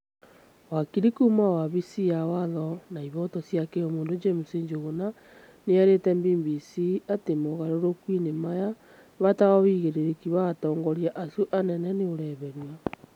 Wakiri kuma wabici ya watho na ihoto cia kĩũmũndũ James Njuguna, nĩerĩte BBC atĩ mogarũrũku-inĩ maya , bata wa ũigĩrĩrĩki wa atongoria acio anene nĩũreherio